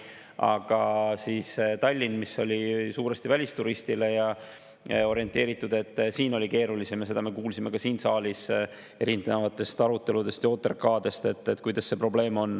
Aga Tallinnas, mis oli suuresti välisturistile orienteeritud, oli keerulisem ja sellest probleemist kuulsime ka siin saalis erinevate arutelude ja OTRK‑de ajal.